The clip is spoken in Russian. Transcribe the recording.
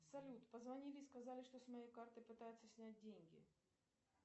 салют позвонили и сказали что с моей карты пытаются снять деньги